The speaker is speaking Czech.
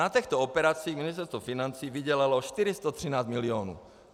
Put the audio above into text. Na těchto operacích Ministerstvo financí vydělalo 413 milionů.